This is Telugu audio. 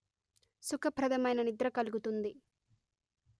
సుఖ ప్రధమైన నిద్ర కలుగుతుంది